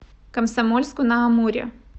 комсомольску на амуре